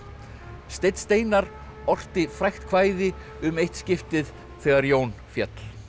steinn Steinarr ort frægt kvæði um eitt skiptið þegar Jón féll